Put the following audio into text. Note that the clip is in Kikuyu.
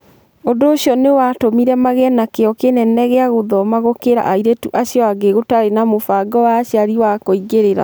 Ũndũ ũcio nĩ watũmire magĩe na kĩyo kĩnene gĩa gũthoma gũkĩra airĩtu acio angĩ gũtarĩ na mũbango wa aciari wa kũingĩrĩra.